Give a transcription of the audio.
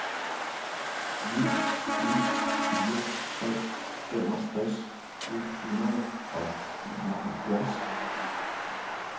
ni ni fire tre femogtres et hundrede og enoghalvfjerds